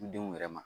Denw yɛrɛ ma